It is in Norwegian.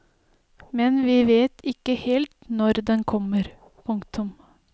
Men vi vet ikke helt når den kommer. punktum